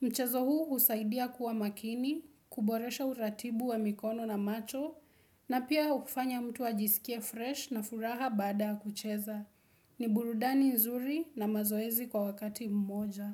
Mchezo huu husaidia kuwa makini, kuboresha uratibu wa mikono na macho na pia hufanya mtu ajisikia fresh na furaha bada kucheza. Ni burudani nzuri na mazoezi kwa wakati mmoja.